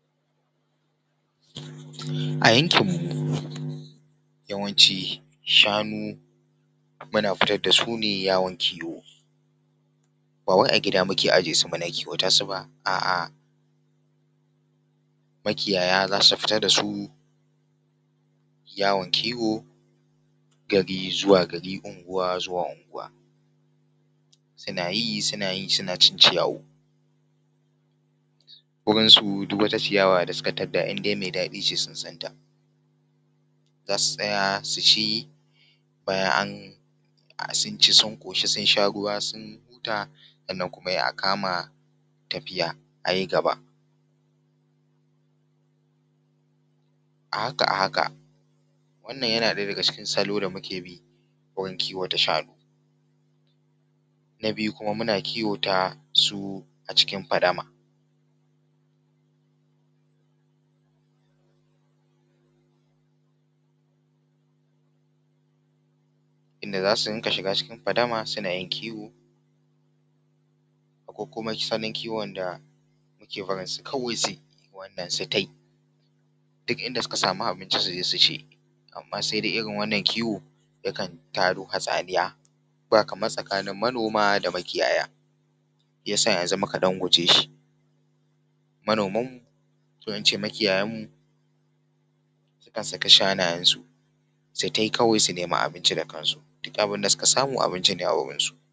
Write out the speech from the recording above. A yankin mu yawanci shanu muna fitar da su ne yawon kiwo, ba wai a gida muke ajiye su ba don kiwata su ba, a’a makiyaya za su fita da su yawon kiwo gari zuwa gari, unguwa zuwa unguwa suna yi suna yi suna cin ciyawu. Wurin su duk wata ciyawa mai daɗi sun san ta za su tsaya su ci an sun ci sun ƙoshi sun sharuwa sun huta sannan kuma sai a kama tafiya a yi gaba, a haka a haka wannan yana ɗaya daga cikin salo da muke bi wurin kiwata shanu. Na biyu kuma muna kiwo ta su a cikin fadama, inda za su rinƙa shiga cikin fadama suna yin kiwo ko kuma salon kiwon da suke yi kawai su yi ta yi, duk inda suka samu abinci su je su ci amma sai dai irin wannan kiwo yakan tado hatsaniya ba kamar tsanin manoma da makiyaya, ya sa yanzu muka ɗan guje shi. Manoman mu ko in ce makiyayan mu sai su saki shanayen su kawai su nemi abinci da kan su duk abin da sukasamu abinci ne a wajen su.